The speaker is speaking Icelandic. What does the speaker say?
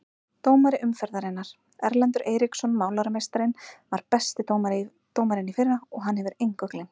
Dómari umferðarinnar: Erlendur Eiríksson Málarameistarinn var besti dómarinn í fyrra og hann hefur engu gleymt.